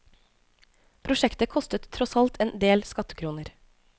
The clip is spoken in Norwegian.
Prosjektet kostet tross alt en del skattekroner.